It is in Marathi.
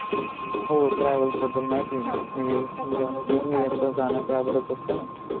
हो travels बद्दल माहिती आहे ना येणं जाणं त्यावरच असताना